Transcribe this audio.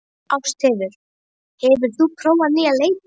Ástheiður, hefur þú prófað nýja leikinn?